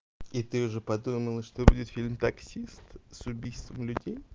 и ты уже подумала что будет фильм таксист с убийством людей